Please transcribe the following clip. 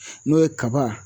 N'o ye kaba